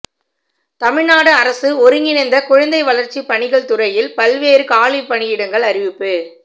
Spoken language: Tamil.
தமிழ்நாடு அரசு ஒருங்கிணைந்த குழந்தை வளர்ச்சிப் பணிகள் துறையில் பல்வேறு காலி பணியிடங்கள் அறிவிப்பு